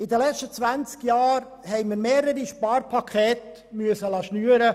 Während der letzten 20 Jahren mussten wir mehrere Sparpakete schnüren.